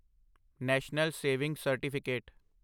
national saving certificate